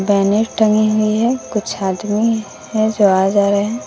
Banner टंगे हुए हैं कुछ आदमी हैं जो आ जा रहे है।